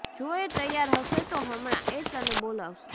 જો એ તૈયાર હશે તો હમણાં એ તને બોલાવશે